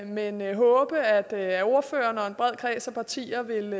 men jeg håber at ordføreren og en bred kreds af partier vil